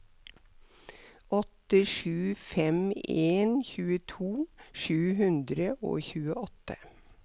åtte sju fem en tjueto sju hundre og tjueåtte